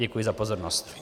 Děkuji za pozornost.